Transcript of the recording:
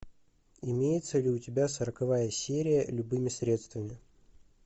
имеется ли у тебя сороковая серия любыми средствами